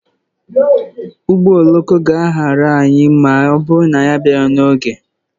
Ụgbọ oloko ga-ahara anyị ma ọ bụrụ na anyị abịaghị n'oge.